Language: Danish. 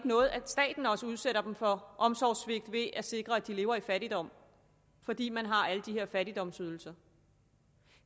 noget at staten også udsætter dem for omsorgssvigt ved at sikre at de lever i fattigdom fordi man har alle de her fattigdomsydelser